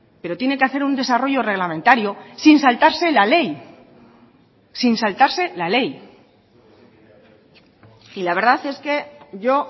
pero tiene que hacer un desarrollo reglamentario sin saltarse la ley sin saltarse la ley y la verdad es que yo